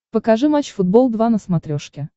покажи матч футбол два на смотрешке